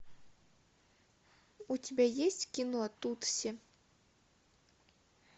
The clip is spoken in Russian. у тебя есть кино тутси